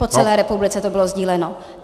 Po celé republice to bylo sdíleno.